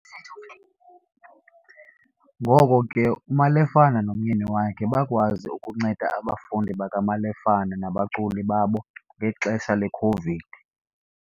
Ngoko ke, uMalefane nomyeni wakhe bakwazi ukunceda abafundi bakaMalefane nabaculi babo ngexesha le-COVID.